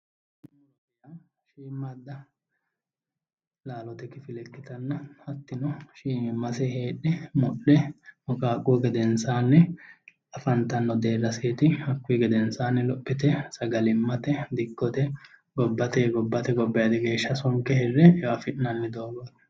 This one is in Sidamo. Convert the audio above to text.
Muro Shiimmaadda laalote kifile ikkitanna hattino shiimimmase heedhe muqaaquhu gedensaanni afantanno deerraseeti hakkuyi gedensaanni dikkote gobbate gobbayiidi geeshsha sonke e"o afi'nanni